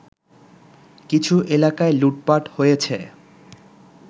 কিছু এলাকায় লুটপাট হয়েছে